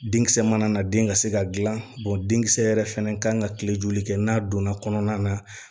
Denkisɛ mana na den ka se ka gilan denkisɛ yɛrɛ fɛnɛ kan ka kile joli kɛ n'a donna kɔnɔna na